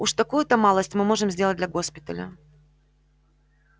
уж такую-то малость мы можем сделать для госпиталя